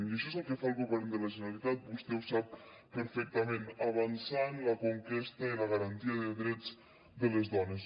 i això és el que fa el govern de la generalitat vostè ho sap perfectament avançar en la conquesta i la garantia de drets de les dones